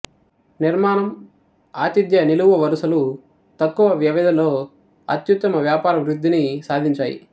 నిర్మాణం ఆతిథ్య నిలువు వరుసలు తక్కువ వ్యవధిలో అత్యుత్తమ వ్యాపార వృద్ధిని సాధించాయి